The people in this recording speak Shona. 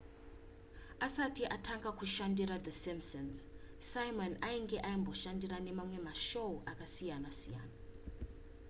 asati atanga kushandira the simpsons simon ainge amboshanda nemamwe mashow akasiyana siyana